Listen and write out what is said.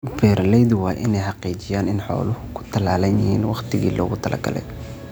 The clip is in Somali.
Beeralaydu waa inay xaqiijiyaan in xooluhu ku tallaalan yihiin waqtigii loogu talagalay.